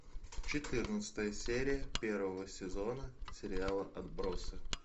четырнадцатая серия первого сезона сериала отбросы